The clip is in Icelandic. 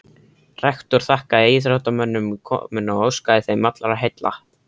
Rektor þakkaði íþróttamönnum komuna og óskaði þeim allra heilla.